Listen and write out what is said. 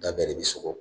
Da bɛɛ de bɛ sogo